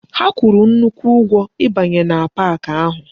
Ha kwuru nnukwu ugwo ibanye na pak ahu